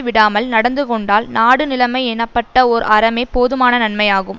விடாமல் நடந்துகொண்டால் நாடு நிலைமை எனப்பட்ட ஓர் அறமே போதுமான நன்மையாகும்